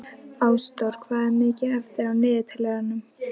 Ásþór, hvað er mikið eftir af niðurteljaranum?